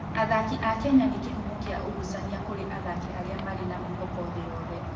Athaki a Kenya nĩ kĩhumo kĩa ũgucania kũrĩ athaki arĩa marĩ na mwĩhoko thĩ yothe.